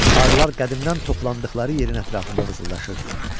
Arılar qədimdən toplandıqları yerin ətrafında vızıldaşırdılar.